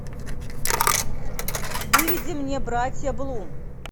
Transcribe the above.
выведи мне братья блум